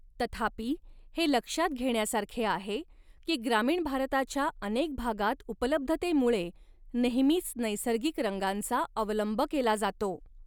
तथापि, हे लक्षात घेण्यासारखे आहे की ग्रामीण भारताच्या अनेक भागात उपलब्धतेमुळे नेहमीच नैसर्गिक रंगांचा अवलंब केला जातो.